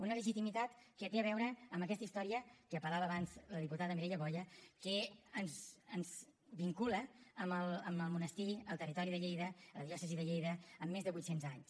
una legitimitat que té a veure amb aquesta història a què apel·lava abans la diputada mireia boya que ens vincula amb el monestir al territori de lleida a la diòcesi de lleida amb més de vuitcents anys